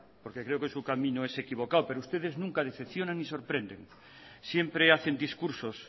porque creo que su camino es equivocado pero ustedes nunca decepcionan ni sorprenden siempre hacen discursos